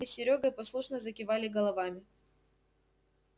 мы с серёгой послушно закивали головами